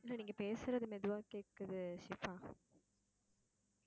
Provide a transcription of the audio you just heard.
நீங்க பேசுறது மெதுவா கேக்குது ஷிபா